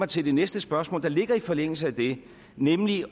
til det næste spørgsmål der ligger i forlængelse af det nemlig